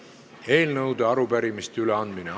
Eelnõude ja arupärimiste üleandmine.